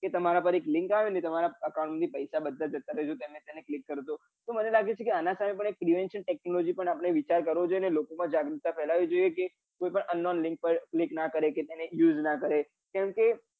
કે તમારા પાર લિંક આવે ને ને તમારા account માંથી પૈસા બધા જતા રહે તેને click કરો તો તો મને લાગે છે કે આના સામેં એક prevention technology પણ આપડે વિચાર કરવો જોઈએ અને લોકો માં જાગૃતતા ફેલાવી જોઈએ કે કોઈ પણ unknown link પર click ના કરે કે એને use ના કરે